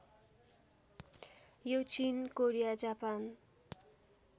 यो चिन Korea Japan